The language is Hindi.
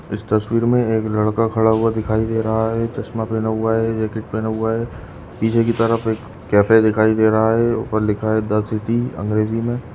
इस तस्वीर में एक लड़का खड़ा हुआ दिखाई दे रहा है चश्मा पहना हुआ है जैकेट पहना हुआ है पीछे की तरफ एक कैफ़े दिखाई दे रहा है ऊपर लिखा हुआ है द सिटी अंग्रेजी में।